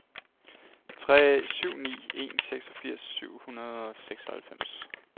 tre syv ni en seksogfirs syv hundrede og seksoghalvfems